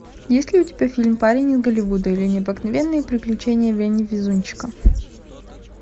есть ли у тебя фильм парень из голливуда или необыкновенные приключения вени везунчика